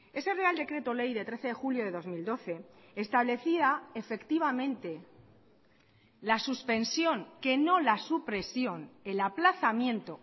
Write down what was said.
ese real decreto ley de trece de julio de dos mil doce establecía efectivamente la suspensión que no la supresión el aplazamiento